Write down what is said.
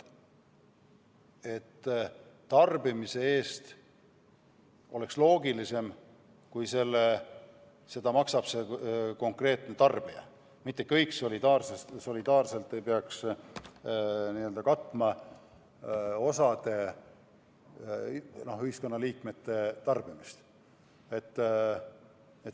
Ma arvan, et oleks loogilisem, kui tarbimise eest maksab konkreetne tarbija, mitte kõik solidaarselt ei peaks katma osa ühiskonnaliikmete tarbimist.